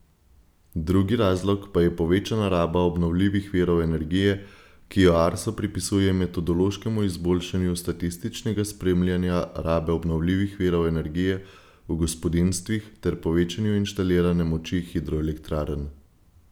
Drugi razlog pa je povečana raba obnovljivih virov energije, ki jo Arso pripisuje metodološkemu izboljšanju statističnega spremljanja rabe obnovljivih virov energije v gospodinjstvih ter povečanju inštalirane moči hidroelektrarn.